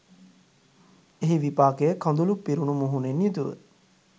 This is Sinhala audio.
එහි විපාකය කඳුළු පිරුණු මුහුණින් යුතුව